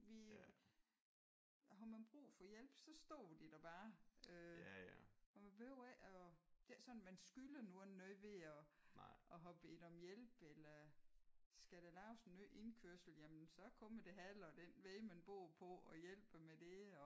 Vi har man brug for hjælp så står de der bare øh og man behøver ikke at det er ikke sådan at man skylder nogen noget ved at at have bedt om hjælp eller. Skal der laves en ny indkørsel så kommer det halve af den vej man bor på og hjælper med det og